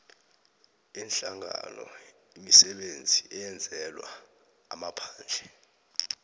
yeenhlanganoimisebenzi eyenzelwa amaphandle